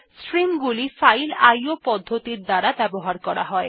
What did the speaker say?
stream গুলি file IO পদ্ধতির দ্বারা ব্যবহার করা হয়